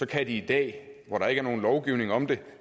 kan de i dag hvor der ikke er nogen lovgivning om det